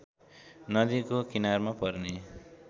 नदीको किनारमा पर्ने